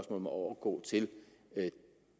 om at overgå til